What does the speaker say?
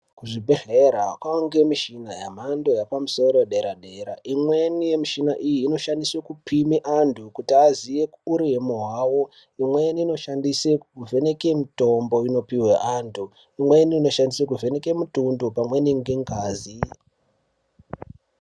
Kuzvibhedhlera kwaa ngemishina yemhando yepamusoro yedera dera. Imweni yemishina iyi inoshandiswe kupime antu kuti aziye uremu hwawo. Imweni inoshandiswe kuvheneke mitombo inopihwe antu. Imweni inoshandiswe kuvheneke mitundo pamweni ngengazi.